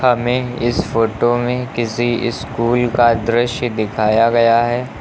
हमें इस फोटो में किसी स्कूल का दृश्य दिखाया गया है।